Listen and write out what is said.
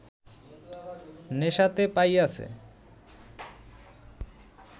নেশাতে পাইয়াছে